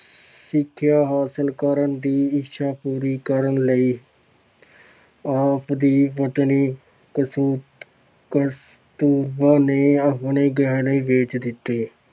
ਸਿੱਖਿਆ ਹਾਸਲ ਕਰਨ ਦੀ ਇੱਛਾ ਪੂਰੀ ਕਰਨ ਲਈ ਆਪ ਦੀ ਪਤਨੀ ਕਸੁ ਕਸਤੂਰਬਾ ਨੇ ਆਪਣੇ ਗਹਿਣੇ ਵੇਚ ਦਿੱਤੇ।